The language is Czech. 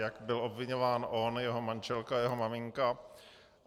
Jak byl obviňován on, jeho manželka, jeho maminka.